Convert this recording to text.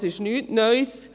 Es ist also nichts Neues.